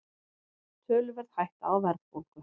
Töluverð hætta á verðbólgu